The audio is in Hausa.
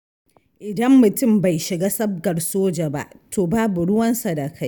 Idan mutum bai shiga sabgar soja ba, to babu ruwansa da kai.